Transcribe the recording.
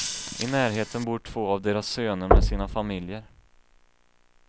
I närheten bor två av deras söner med sina familjer.